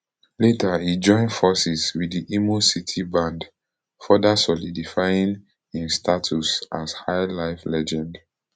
later e join forces wit di imo city band further solidifying im status as highlife legend